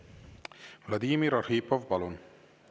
Vladimir Arhipov, palun!